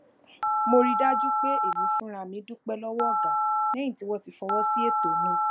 mo rí i dájú pé èmi fúnra mi dúpé lówó ọga léyìn tí wón ti fọwó sí eto náà